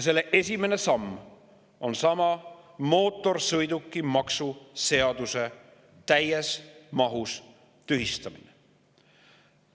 Selle esimene samm on seesama: mootorsõidukimaksu seaduse täies mahus tühistamine.